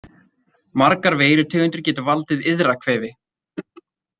Margar veirutegundir geta valdið iðrakvefi.